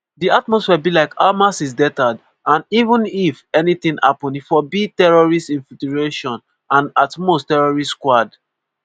“di atmosphere be like: ‘hamas is deterred and even if anytin happun e fo be terrorist infiltration and at most terrorist squad.’”